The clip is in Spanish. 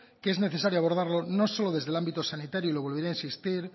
que es necesario abordarlo no solo desde el ámbito sanitario y lo volveré a insistir